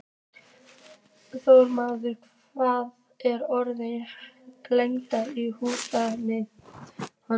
Þórmar, hvað er opið lengi í Húsasmiðjunni?